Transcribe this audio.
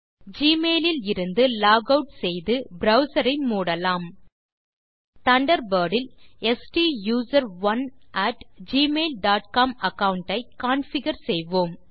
Gmail ல் இருந்து log out செய்து ப்ரவ்சர் ஐ மூடலாம் தண்டர்பர்ட் இல் ஸ்டூசரோன் at Gmail dot com account ஐ கான்ஃபிகர் செய்வோம்